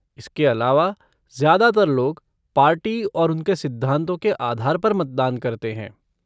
इसके अलावा, ज्यादातर लोग, पार्टी और उनके सिद्धांतों के आधार पर मतदान करते हैं।